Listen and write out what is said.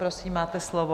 Prosím, máte slovo.